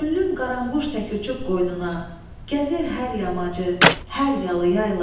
Könlüm qaranquş tək uçub qoynuna, gəzir hər yamacı, hər yalı yaylaq.